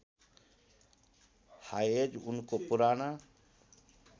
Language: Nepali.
हायेज उनको पुराना